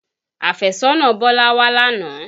Àfẹ́sọ́nà Bọ́lá wá lánàá